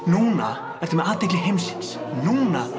núna ertu með athygli heimsins núna